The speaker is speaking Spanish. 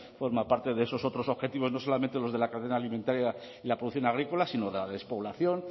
forma parte de esos otros objetivos no solamente los de la cadena alimentaria y la producción agrícola sino de la despoblación